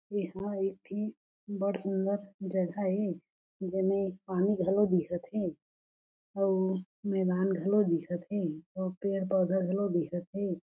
एहा एक ठी बड़ सुन्दर जग़ह ए जेमे पानी घलो दिखत हे अउ मैदान घलो दिखते अउ पेड़-पौधा घलो दिखत हे।